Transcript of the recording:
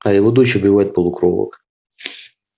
а его дочь убивает полукровок